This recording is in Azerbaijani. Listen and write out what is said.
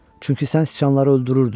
Çünki sən sıçanları öldürürdün.